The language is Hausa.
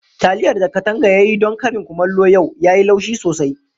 Taliyar da Kadanga ya yi don karin kumallo yau, yayi laushi sosai.